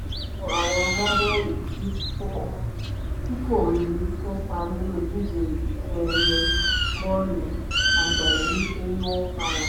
wo àwọn agbábọ́ọ̀lù tí kò ní kópa nínú ìdíje ife ẹ̀yẹ bọ́ọ̀lù àgbáyé nítorí wọ́n farapa